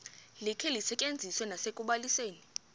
likhe lisetyenziswe nasekubalisweni